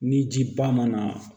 Ni ji ba ma na